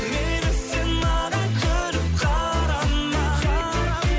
мейлі сен маған күліп қарама қарама